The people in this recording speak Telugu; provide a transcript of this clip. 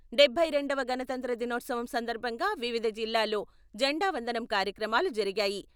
డబ్బై రెండవ గణతంత్ర దినోత్సవం సందర్భంగా వివిధ జిల్లాల్లో జెండావందనం కార్యక్రమాలు జరిగాయి.